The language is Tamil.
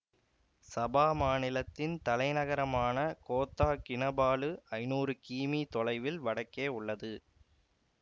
சபா மாநிலத்தின் தலைநகரமான கோத்தா கினபாலு ஐநூறு கீமீ தொலைவில் வடக்கே உள்ளது